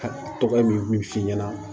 Ka tɔgɔ min f'i ɲɛna